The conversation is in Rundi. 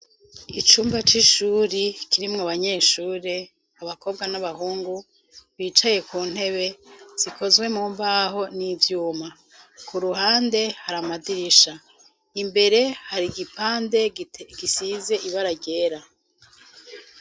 Icumba c'ishuri kirimwo banyeshure abakobwa n'abahungu bicaye ku ntebe zikozwe mu mbaho n'ivyuma ku ruhande haramadirisha imbere hari igipande gisize ibararera.